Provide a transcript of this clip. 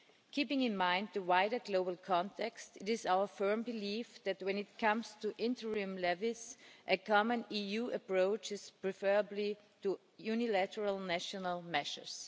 Keeping in mind the wider global context, it is our firm belief that, when it comes to interim levies, a common EU approach is preferable to unilateral national measures.